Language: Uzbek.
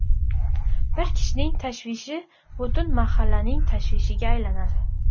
Bir kishining tashvishi butun mahallaning tashvishiga aylanadi.